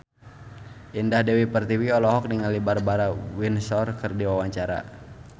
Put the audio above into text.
Indah Dewi Pertiwi olohok ningali Barbara Windsor keur diwawancara